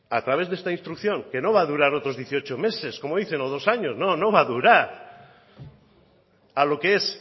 a través de esta instrucción que no va a durar otros dieciocho meses como dicen o dos años no no va a durar a lo que es